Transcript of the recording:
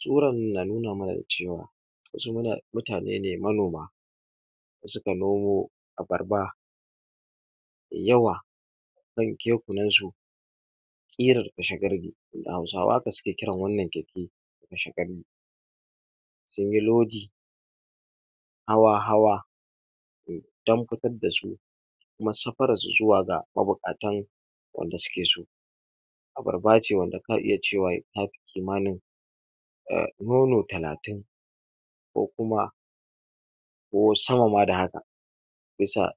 Tsoran nan na nuna mana da cewa wasu mutane ne manoma da su ka nomo abarba da yawa a kan kekunan su kirar kashe gadadu da hausawa haka su ke kiran wannan keke kashe qani sun yi lodi hawa hawa dan fitar da su kuma safarar su, zuwa ga mabukatan wanda su ke so abarba ce wanda ka iya cewa ta fi kimanin um nono talatin ko kuma ko sama ma da haka ya sa